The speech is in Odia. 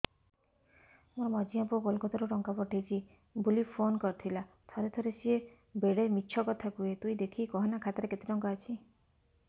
ମୋର ମଝିଆ ପୁଅ କୋଲକତା ରୁ ଟଙ୍କା ପଠେଇଚି ବୁଲି ଫୁନ କରିଥିଲା ଥରେ ଥରେ ସିଏ ବେଡେ ମିଛ କଥା କୁହେ ତୁଇ ଦେଖିକି କହନା ଖାତାରେ କେତ ଟଙ୍କା ଅଛି